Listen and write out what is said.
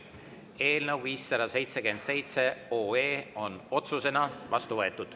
Eelnõu 577 on otsusena vastu võetud.